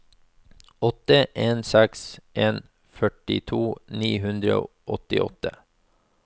åtte en seks en førtito ni hundre og åttiåtte